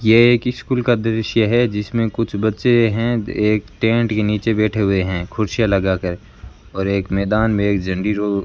यह एक स्कूल का दृश्य है जिसमें कुछ बच्चे हैं एक टेंट के नीचे बैठे हुए हैं कुर्सियां लगा कर और एक मैदान में एक झंडी जो --